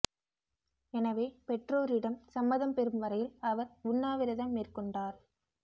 எனவே பெற்றோரிடம் சம்மதம் பெரும் வரையில் அவர் உண்ணா விரதம் மேற்கொண்டார்